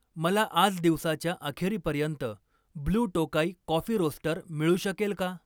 मला आज दिवसाच्या अखेरीपर्यंत ब्लू टोकाई कॉफी रोस्टर मिळू शकेल का?